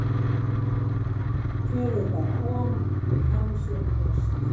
Gefið bara á hann og hann sér um rest.